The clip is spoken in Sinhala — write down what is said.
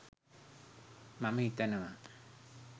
මම හිතනවා.